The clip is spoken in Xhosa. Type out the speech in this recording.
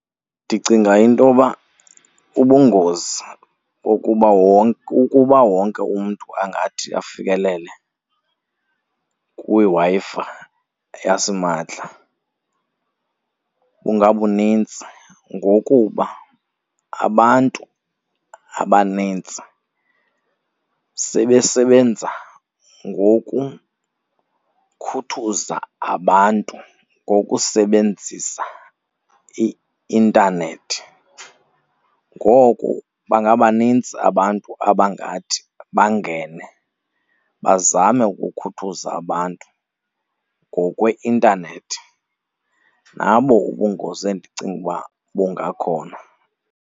Ndicinga intoba ubungozi bokuba , ukuba wonke umntu angathi afikelele kwiWi-Fi yasimahla bungabuninzi ngokuba abantu abanintsi sebesebenza ngokukhuthuza abantu ngokusebenzisa i-intanethi. Ngoko bangabaninzi abantu abangathi bangene bazame ukukhuthuza abantu ngokwe-intanethi. Nabo ubungozi endicinga uba bungakhona.